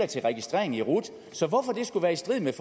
til registrering i rut så hvorfor det skulle være i strid med